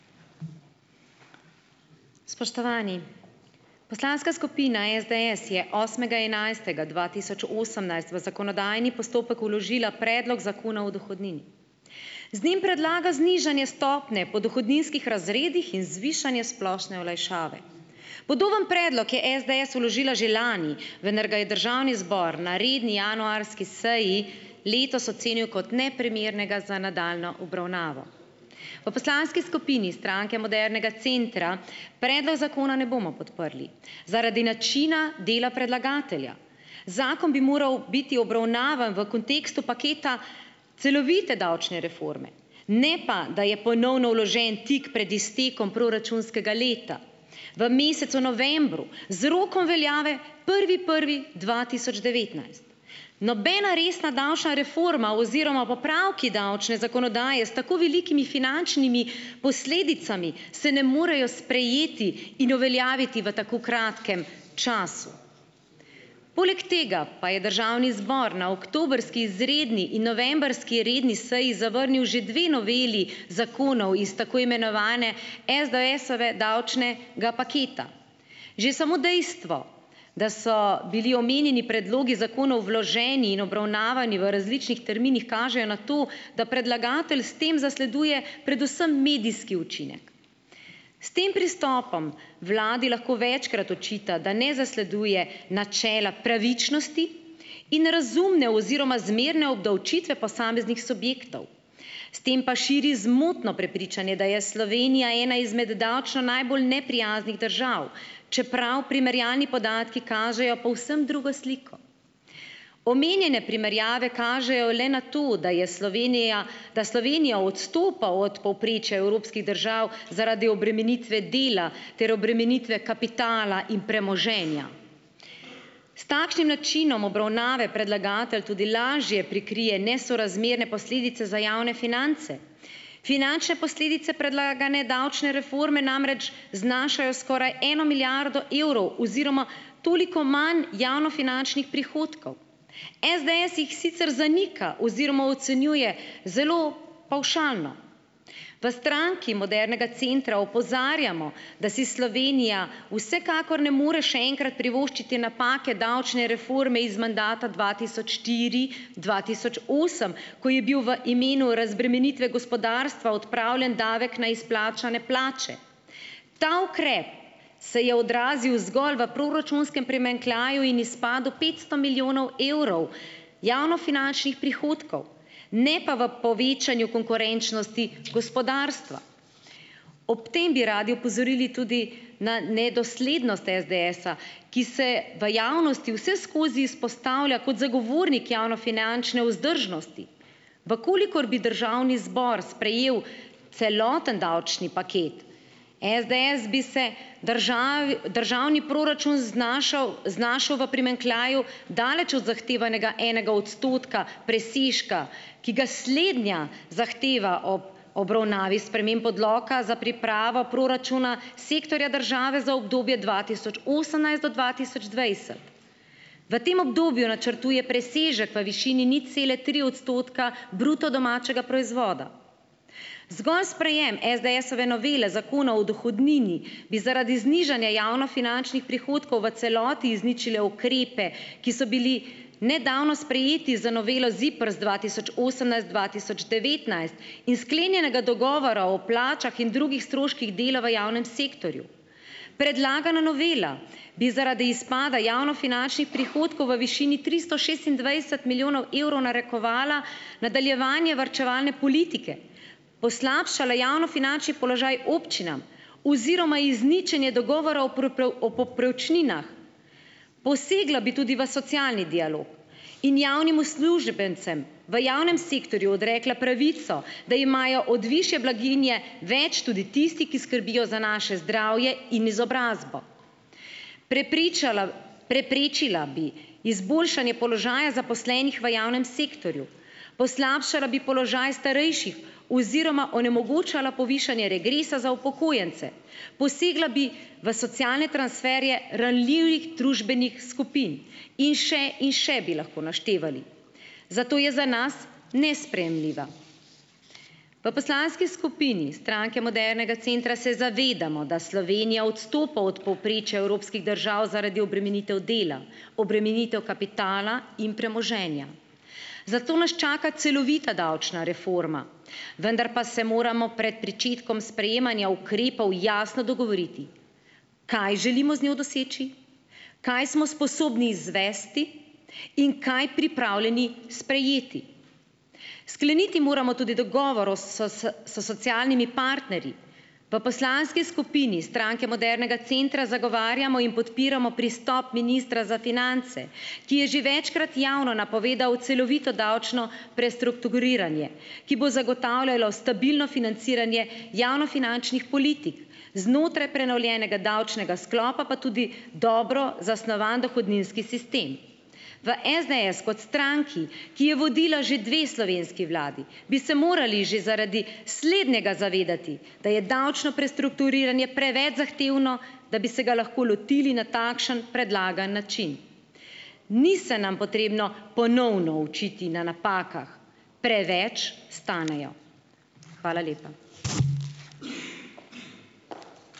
Spoštovani. Poslanska skupina SDS je osmega enajstega dva tisoč osemnajst v zakonodajni postopek vložila predlog zakona o dohodnini. Z njim predlaga znižanje stopnje po dohodninskih razredih in zvišanje splošne olajšave. Podoben predlog je SDS vložila že lani, vendar ga je državni zbor na redni januarski seji letos ocenil kot neprimernega za nadaljnjo obravnavo. V poslanski skupini Stranke modernega centra predlog zakona ne bomo podprli zaradi načina dela predlagatelja. Zakon bi moral biti obravnavan v kontekstu paketa celovite davčne reforme, ne pa, da je ponovno vložen tik pred iztekom proračunskega leta, v mesecu novembru z rokom veljave prvi prvi dva tisoč devetnajst. Nobena resna davčna reforma oziroma popravki davčne zakonodaje s tako velikimi finančnimi posledicami se ne morejo sprejeti in uveljaviti v tako kratkem času. Poleg tega pa je državni zbor na oktobrski izredni in novembrski redni seji zavrnil že dve noveli zakonov iz tako imenovane SDS-ove davčnega paketa. Že samo dejstvo, da so bili omenjeni predlogi zakonov vloženi in obravnavani v različnih terminih, kaže na to, da predlagatelj s tem zasleduje predvsem medijski učinek. S tem pristopom vladi lahko večkrat očita, da ne zasleduje načela pravičnosti in razumne oziroma zmerne obdavčitve posameznih subjektov. S tem pa širi zmotno prepričanje, da je Slovenija ena izmed davčno najbolj neprijaznih držav, čeprav primerjalni podatki kažejo povsem drugo sliko. Omenjene primerjave kažejo le na to, da je Slovenija, da Slovenija odstopa od povprečja evropskih držav zaradi obremenitve dela ter obremenitve kapitala in premoženja. S takšnim načinom obravnave predlagatelj tudi lažje prikrije nesorazmerne posledice za javne finance. Finančne posledice predlagane davčne reforme namreč znašajo skoraj eno milijardo evrov oziroma toliko manj javnofinančnih prihodkov. SDS jih sicer zanika oziroma ocenjuje zelo pavšalno. V Stranki modernega centra opozarjamo, da si Slovenija vsekakor ne more še enkrat privoščiti napake davčne reforme iz mandata dva tisoč štiri-dva tisoč osem, ko je bil v imenu razbremenitve gospodarstva odpravljen davek na izplačane plače. Ta ukrep se je odrazil zgolj v proračunskem primanjkljaju in izpadu petsto milijonov evrov javnofinančnih prihodkov, ne pa v povečanju konkurenčnosti gospodarstva. Ob tem bi radi opozorili tudi na nedoslednost SDS-a, ki se v javnosti vseskozi izpostavlja kot zagovornik javnofinančne vzdržnosti. V kolikor bi državni zbor sprejel celoten davčni paket SDS, bi se državi, državni proračun znašal, znašel v primanjkljaju, daleč od zahtevanega enega odstotka presežka, ki ga slednja zahteva ob obravnavi sprememb odloka za pripravo proračuna sektorja države za obdobje dva tisoč osemnajst do dva tisoč dvajset. V tem obdobju načrtuje presežek v višini nič cele tri odstotka bruto domačega proizvoda. Zgolj sprejem SDS-ove novele zakona o dohodnini bi zaradi znižanja javnofinančnih prihodkov v celoti izničil ukrepe, ki so bili nedavno sprejeti z novelo ZIPRS dva tisoč osemnajst-dva tisoč devetnajst, in sklenjenega dogovora o plačah in drugih stroških dela v javnem sektorju. Predlagana novela bi zaradi izpada javnofinančnih prihodkov v višini tristo šestindvajset milijonov evrov narekovala nadaljevanje varčevalne politike, poslabšala javnofinančni položaj občinam oziroma izničenje dogovora o o povprečninah, posegla bi tudi v socialni dialog in javnim uslužbencem v javnem sektorju odrekla pravico, da imajo od višje blaginje več tudi tisti, ki skrbijo za naše zdravje in izobrazbo, prepričala, preprečila bi izboljšanje položaja zaposlenih v javnem sektorju, poslabšala bi položaj starejših oziroma onemogočala povišanje regresa za upokojence, posegla bi v socialne transferje ranljivih družbenih skupin in še in še bi lahko naštevali. Zato je za nas nesprejemljiva. V poslanski skupini Stranke modernega centra se zavedamo, da Slovenija odstopa od povprečja evropskih držav zaradi obremenitev dela, obremenitev kapitala in premoženja. Zato naš čaka celovita davčna reforma. Vendar pa se moramo priti pričetkom sprejemanja ukrepov jasno dogovoriti, kaj želimo z njo doseči, kaj smo sposobni izvesti in kaj pripravljeni sprejeti. Skleniti moramo tudi dogovor o s socialnimi partnerji. V poslanski skupini Stranke modernega centra zagovarjamo in podpiramo pristop ministra za finance, ki je že večkrat javno napovedal celovito davčno prestrukturiranje, ki bo zagotavljalo stabilno financiranje javnofinančnih politik. Znotraj prenovljenega davčnega sklopa pa tudi dobro zasnovan dohodninski sistem. V SDS kot stranki, ki je vodila že dve slovenski vladi, bi se morali že zaradi slednjega zavedati, da je davčno prestrukturiranje preveč zahtevno, da bi se ga lahko lotili na takšen predlagan način. Ni se nam potrebno ponovno učiti na napakah, preveč stanejo. Hvala lepa.